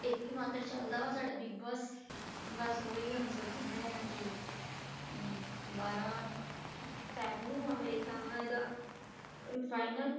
ਇੱਕ ਹੀ ਮਾਤਰ ਚੱਲਦਾ ਵਾ ਸਾਡਾ ਬਿਗ ਬੋਸ ਬੱਸ ਉਹੀ ਹੁਣ ਸੋਚਣ ਡਿਆ ਕਿ ਅਮ ਬਾਰਾਂ fab ਨੂੰ ਆ ਮੇਰੇ ਖਿਆਲ ਨਾ ਇਹਦਾ ਅਮ final